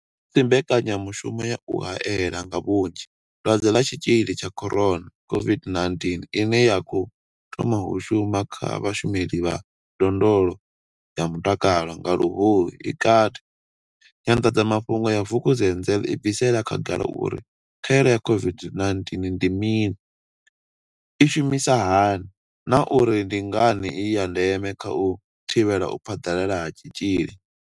Musi mbekanyamushumo ya u hae la nga vhunzhi Dwadze ḽa Tshitzhili tsha corona, COVID-19 ine ya khou thoma u shuma kha vhashumeli vha ndondolo ya mutakalo nga Luhuhi i kati, Nyanḓadzamafhungo ya Vukuzenzele i bvisela khagala uri khaelo ya COVID-19 ndi mini, i shumisa hani na uri ndi ngani i ya ndeme kha u thivhela u phaḓalala ha tshitzhili.